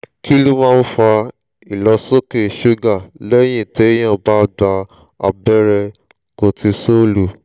kí ló máa ń fa ìlọ́sókè ṣúgà lẹ́yìn téèyàn bá gba abẹ́rẹ́ kotisọ́ọ̀lù